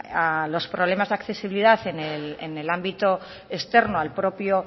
a los problemas de accesibilidad en el ámbito externo al propio